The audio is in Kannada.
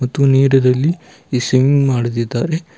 ಮತ್ತು ನೀರಿನಲ್ಲಿ ಈ ಸ್ವಿಮಿಂಗ್ ಮಾಡುತ್ತಿದ್ದಾರೆ.